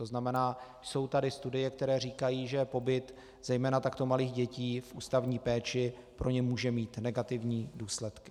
To znamená, jsou tady studie, které říkají, že pobyt zejména takto malých dětí v ústavní péči pro ně může mít negativní důsledky.